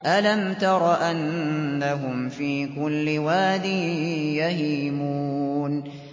أَلَمْ تَرَ أَنَّهُمْ فِي كُلِّ وَادٍ يَهِيمُونَ